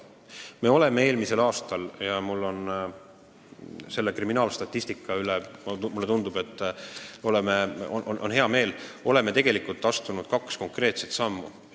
Me oleme eelmisel aastal – ja mul on selle kriminaalstatistika üle hea meel – tegelikult astunud kaks konkreetset sammu.